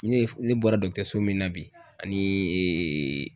Ne ye ne bɔra min na bi ani